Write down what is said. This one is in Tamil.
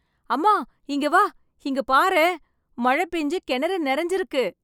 அம்மா இங்கே வா இங்க பாரேன் மழை பேஞ்சு கிணறு நிறைஞ்சு இருக்கு